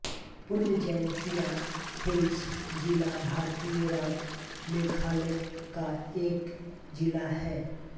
पूर्व जयन्तिया हिल्स जिला भारतीय राज्य मेघालय का एक जिला है